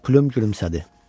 Plyum gülümsədi.